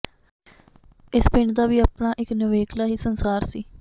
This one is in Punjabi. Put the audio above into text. ਇਸ ਪਿੰਡ ਦਾ ਵੀ ਆਪਣਾ ਇੱਕ ਨਿਵੇਕਲਾ ਹੀ ਸੰਸਾਰ ਸੀ